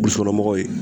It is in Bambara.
U somɔgɔw ye